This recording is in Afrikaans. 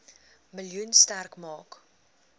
miljoen sterk maak